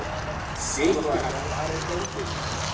Sylgja, hvar er dótið mitt?